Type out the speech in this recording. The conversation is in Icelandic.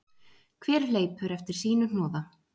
Hver hleypur eftir sínu hnoða